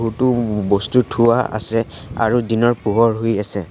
বহুতো ব-বস্তু থোৱা আছে আৰু দিনৰ পোহৰ হৈ আছে।